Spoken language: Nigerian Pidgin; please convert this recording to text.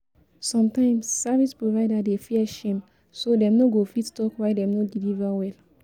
Sometimes service provider dey fear shame, so dem no go fit talk why dem no deliver well